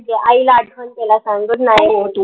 आईला आठवन केलं सांग good